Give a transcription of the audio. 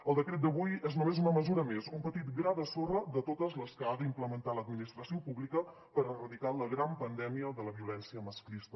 el decret d’avui és només una mesura més un petit gra de sorra de totes les que ha d’implementar l’administració pública per erradicar la gran pandèmia de la violència masclista